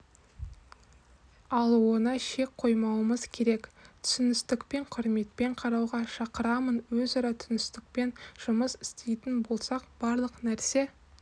алуына шек қоймауымыз керек түсіністікпен құрметпен қарауға шақырамын өзара түсіністікпен жұмыс істейтін болсақ барлық нәрсе